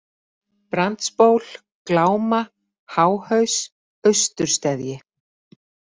Brandsból, Gláma, Háhaus, Austursteðji